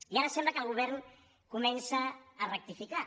i ara sembla que el govern comença a rectificar